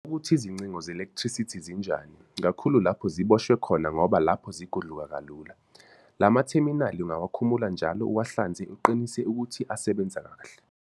Ukuthi izincingo zelekthrisithi zinjane, kakhulu lapho ziboshwe khona ngoba lapho zigudluka kalula. La matheminali ungawakhumula njalo uwahlanze uqinise ukuthi asasebenza kahle.